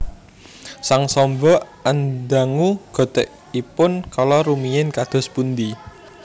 Sang Samba andangu gotèkipun kala rumiyin kados pundi